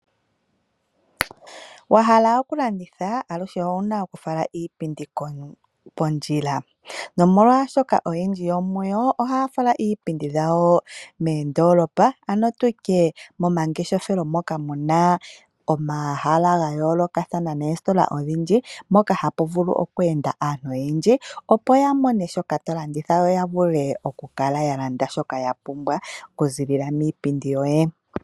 Wa hala okulanditha olushe owu na oku fala iipindi kontu, pondjila, nomolwaashoka oyendji yomuyo oha ya fala iipindi yawo meendolopa, ano tutye momangeshefelo moka muna omahala ga yoolokathana neesitola odhindji, mpoka ha pu vulu okweenda aantu oyendji, opo ya mone shoka tolanditha yo ya vule oku kala ya landa shoka ya pumbwa oku zilila miipindi yoye.